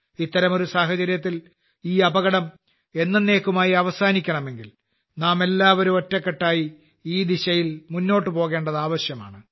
ഇത്തരമൊരു സാഹചര്യത്തിൽ ഈ അപകടം എന്നെന്നേക്കുമായി അവസാനിക്കണമെങ്കിൽ നാമെല്ലാവരും ഒറ്റക്കെട്ടായി ഈ ദിശയിൽ മുന്നോട്ട് പോകേണ്ടത് ആവശ്യമാണ്